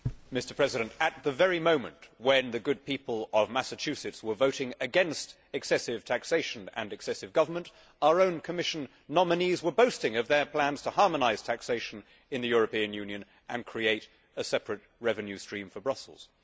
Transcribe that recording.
Mr President, at the very moment when the good people of Massachusetts were voting against excessive taxation and excessive government, our own Commission nominees were boasting of their plans to harmonise taxation in the European Union and create a separate revenue stream for Brussels.